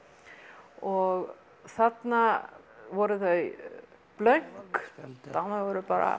og þarna voru þau blönk voru bara